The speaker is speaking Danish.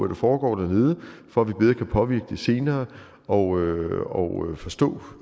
der foregår dernede for at vi bedre kan påvirke det senere og forstå